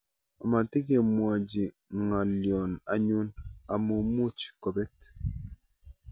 Matikemwochi ng'aloyno anyun amu much kobet.